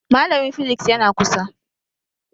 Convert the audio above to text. Malamin physics yana kusa